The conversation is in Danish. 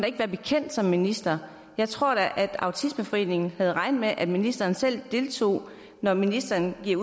ikke være bekendt som minister jeg tror da at autismeforeningen havde regnet med at ministeren selv deltog når ministeren her